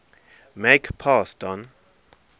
make pass don